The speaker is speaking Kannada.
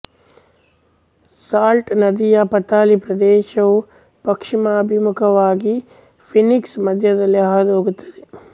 ಸಾಲ್ಟ್ ನದಿಯ ಪಾತಳಿ ಪ್ರದೇಶವು ಪಶ್ಚಿಮಾಭಿಮುಖವಾಗಿ ಫೀನಿಕ್ಸ್ ಮಧ್ಯದಲ್ಲೇ ಹಾದು ಹೋಗುತ್ತದೆ